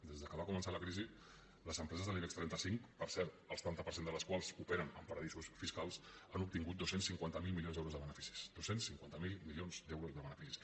des que va començar la crisi les empreses de l’ibex trenta cinc per cert el setanta per cent de les quals operen en paradisos fiscals han obtingut dos cents i cinquanta miler milions d’euros de beneficis dos cents i cinquanta miler milions d’euros de beneficis